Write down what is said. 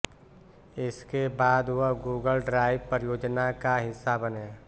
इसके बाद वह गूगल ड्राइव परियोजना का हिस्सा बने